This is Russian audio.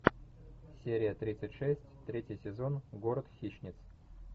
серия тридцать шесть третий сезон город хищниц